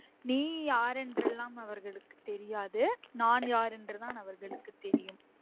நீ யார் என்றுலாம் அவர்களுக்கு தெரியாது நான் யார் என்று தான் அவர்களுக்கு தெரியும்